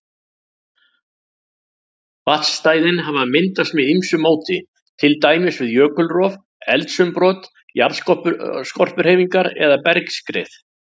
Vatnsstæðin hafa myndast með ýmsu móti, til dæmis við jökulrof, eldsumbrot, jarðskorpuhreyfingar eða bergskrið.